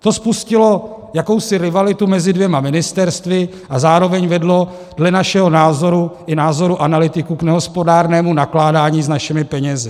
To spustilo jakousi rivalitu mezi dvěma ministerstvy a zároveň vedlo dle našeho názoru i názoru analytiků k nehospodárnému nakládání s našimi penězi.